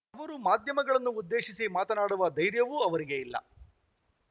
ಅವರು ಮಾಧ್ಯಮಗಳನ್ನು ಉದ್ದೇಶಿಸಿ ಮಾತನಾಡುವ ಧೈರ್ಯವೂ ಅವರಿಗೆ ಇಲ್ಲ